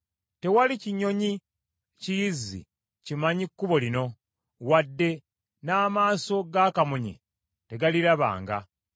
Tewali kinyonyi kiyizzi kimanyi kkubo lino, wadde n’amaaso ga kamunye tegarirabanga.